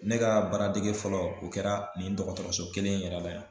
Ne ka baaradege fɔlɔ o kɛra nin dɔgɔtɔrɔso kelen in yɛrɛ la yan